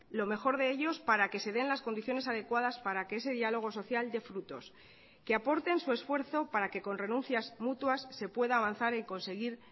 lo mejor de ellos para que se den las condiciones adecuadas para que ese diálogo social de frutos que aporten su esfuerzo para que con renuncias mutuas se pueda avanzar y conseguir